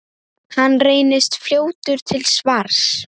Hann reynist fljótur til svars.